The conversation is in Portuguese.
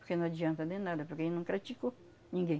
Porque não adianta de nada, porque ele não creticou ninguém.